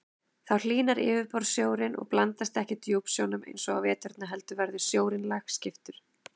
Þá hlýnar yfirborðssjórinn og blandast ekki djúpsjónum eins og á veturna heldur verður sjórinn lagskiptur.